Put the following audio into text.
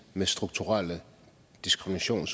med strukturel diskrimination